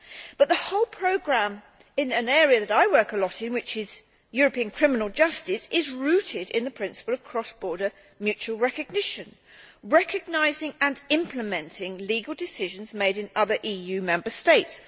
But the whole programme in an area that I work in a lot, which is European criminal justice, is rooted in the principle of cross border mutual recognition recognising and implementing legal decisions made in other EU Member States.